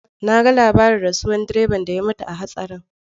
Na ga labarin rasuwar direban da ya mutu a hatsarin.